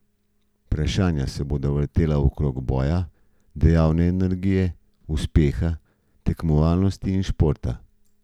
Vprašanja se bodo vrtela okrog boja, dejavne energije, uspeha, tekmovalnosti in športa.